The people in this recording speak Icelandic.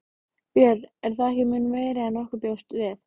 Björn: Er það ekki mun meira en nokkur bjóst við?